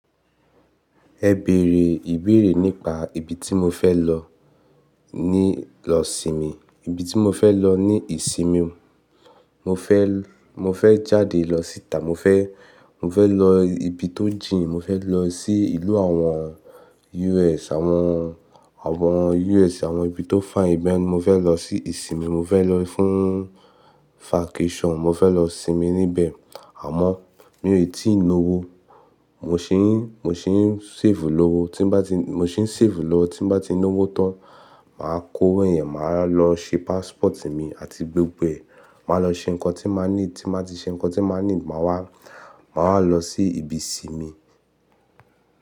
Ẹ bèrè ìbéèrè nípa ibi tí mo fẹ́ lọ, ní lọ sinmi, ibi tí mo fẹ́ lọ ní ìsinmi. Mo fẹ́, mo fẹ́ jáde lọ síta, mo fẹ́, mo fẹ́ lọ ibi tó jìn, mo fẹ́ lọ sí ìlú àwọn US, àwọn, àwọn US àwọn ibi tó fine ibẹ̀, mo fẹ́ lọ sí ìsinmi, mo fẹ́ lọ fún vacation, mo fẹ́ lọ sinmi níbẹ̀. Àmọ́ mi ò tí ì lọ́wọ́. Mo ṣì ń, mo ṣì ń save lọ́wọ́, tí bá ti, mo sì ń save lọ tí bá ti lọ́wọ́ tán, màá kó owo yẹn, màá lọ ṣe passport mi àti gbogbo ẹ̀. Màá lọ ṣe nǹkan tí màá need, tí màá ti ṣe nǹkan tí màá need, màá wá, màá lọ sí ibi sinmi.